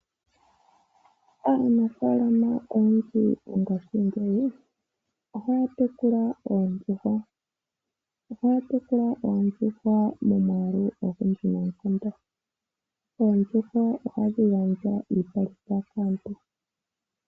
Aanafalama oyendji mongashingeyi ohaya tekula oondjuhwa . Ohaya tekula oondjuhwa momwaalu ogundji noonkondo. Oondjuhwa ohadhi gandja iipalutha kaantu.